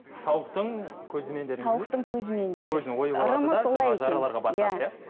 тауықтың көзімен тауықтың көзімен дейді